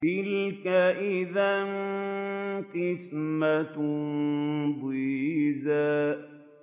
تِلْكَ إِذًا قِسْمَةٌ ضِيزَىٰ